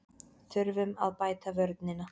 Þurfum að bæta vörnina